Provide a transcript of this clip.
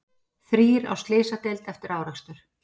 Þrír á slysadeild eftir árekstur